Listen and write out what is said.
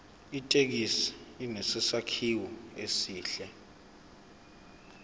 ithekisi inesakhiwo esihle